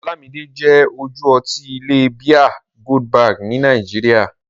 Ọlámidé jẹ́ ojú ọtí bíà Goldberg nílẹ̀ Nàìjíríà.